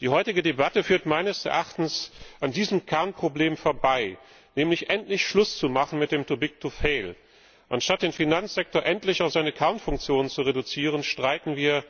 Die heutige Debatte führt meines Erachtens an diesem Kernproblem vorbei, nämlich endlich Schluss zu machen mit dem too big to fail Anstatt den Finanzsektor endlich auf seine Kernfunktion zu reduzieren, streiten wir